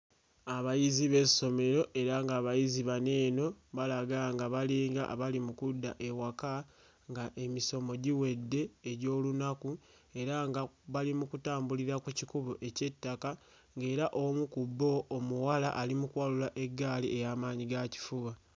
Abayizi b'essomero era ng'abayizi bano eno balaga nga balinga abali mu kudda ewaka nga emisomo giwedde egy'olunaku era nga bali mu kutambulira ku kikubo eky'ettaka ng'era omu ku bo omuwala ali mu kuwalula eggaali eya maanyigakifuba.